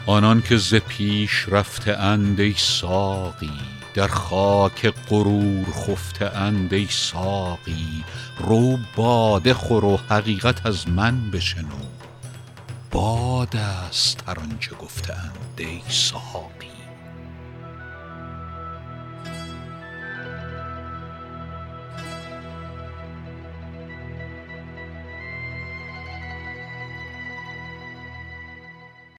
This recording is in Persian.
آنان که ز پیش رفته اند ای ساقی در خاک غرور خفته اند ای ساقی رو باده خور و حقیقت از من بشنو باد است هر آنچه گفته اند ای ساقی